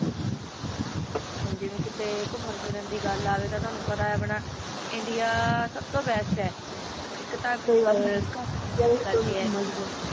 ਜੀਵਾ ਕੀਤਾ ਏਕ ਮਰਜ਼ੀ ਦੀ ਗਲ ਆਵਾ ਤਾ ਟੋਨੋ ਤਾ ਪਤਾ ਆ ਇੰਡੀਆ ਸੁਬ ਤੋ ਬੇਸ੍ਟ ਆ ਏਕ ਤਕ ਹੋਂਦਾ ਆ ਜਰਾ ਕੁਛ ਵੀ ਸੰਜਾਦਾ ਨਾ